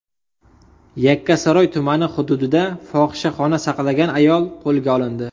Yakkasaroy tumani hududida fohishaxona saqlagan ayol qo‘lga olindi.